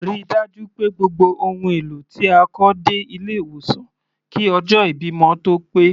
Ríi dájú pé gbogbo ohùn èlò tí a kọ dé ilé ìwòsan kí ọjọ́ ìbímọ tó pé.